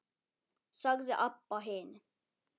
sagði Abba hin.